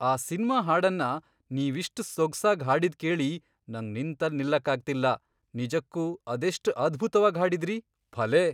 ಆ ಸಿನ್ಮಾ ಹಾಡನ್ನ ನೀವಿಷ್ಟ್ ಸೊಗ್ಸಾಗ್ ಹಾಡಿದ್ ಕೇಳಿ ನಂಗ್ ನಿಂತಲ್ ನಿಲ್ಲಕ್ಕಾಗ್ತಿಲ್ಲ, ನಿಜಕ್ಕೂ ಅದೆಷ್ಟ್ ಅದ್ಭುತ್ವಾಗ್ ಹಾಡಿದ್ರಿ, ಭಲೇ!